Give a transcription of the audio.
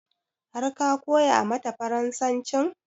Har ka koya mata farasancin?